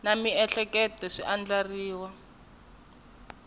na miehleketo swi andlariwile hi